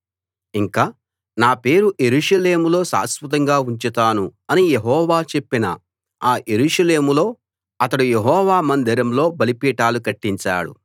ఇంకా నా పేరు యెరూషలేములో శాశ్వతంగా ఉంచుతాను అని యెహోవా చెప్పిన ఆ యెరూషలేములో అతడు యెహోవా మందిరంలో బలిపీఠాలు కట్టించాడు